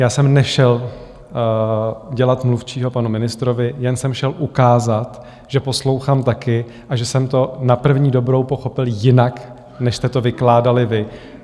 Já jsem nešel dělat mluvčího panu ministrovi, jen jsem šel ukázat, že poslouchám taky a že jsem to na první dobrou pochopil jinak, než jste to vykládali vy.